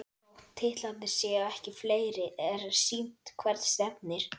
Þótt titlarnir séu ekki fleiri er sýnt hvert stefnir.